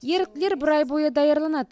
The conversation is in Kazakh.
еріктілер бір ай бойы даярланады